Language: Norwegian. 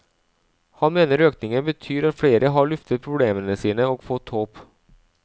Han mener økningen betyr at flere har luftet problemene sine og fått håp.